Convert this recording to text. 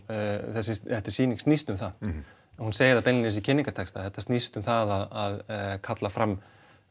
þessi sýning snýst um það hún segir það beinlínis í kynningartexta þetta snýst um það að kalla fram